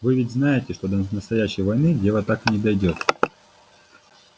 вы ведь знаете что до настоящей войны дело так и не дойдёт